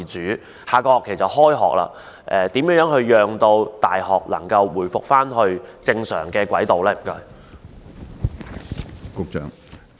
鑒於下學期即將開學，當局如何讓大學能夠回復正常軌道呢？